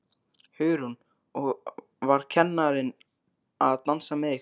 Hugrún: Og var kennarinn að dansa með ykkur?